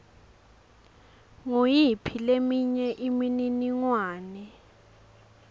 nguyiphi leminye imininingwane